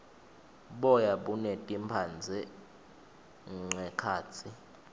boya buneti mphandze nqekhatsi